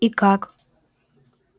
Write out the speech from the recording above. и как